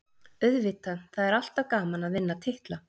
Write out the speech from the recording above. Auðvitað, það er alltaf gaman að vinna titla.